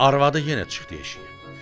Arvadı yenə çıxdı eşiyə.